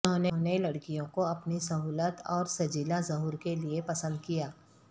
انہوں نے لڑکیوں کو اپنی سہولت اور سجیلا ظہور کے لئے پسند کیا